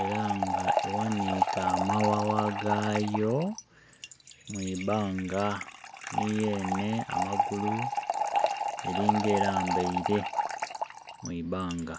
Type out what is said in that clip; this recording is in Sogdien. era nga eghanike amawawa gayo mwibanga ni yene amagulu eringa elambaire mwibanga.